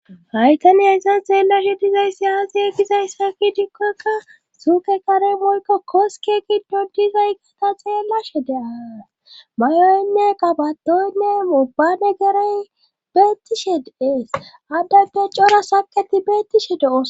hay tani hayssan xeellashe dizayssi aze gizayssa gidikkokka suuke kare moyko qoske giddon dizaygata xeellashe de'ays mayoynne qabatoynne mubbane geray beettishe de'ees addanpe cora saqeti beettishe de'osona